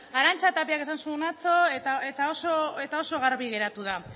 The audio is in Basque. arantza tapiak esan zuen atzo eta oso garbi geratu da